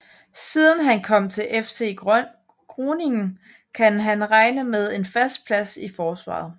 Siden han kom til FC Groningen kan han regne med en fast plads i forsvaret